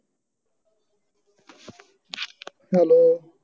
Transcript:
hello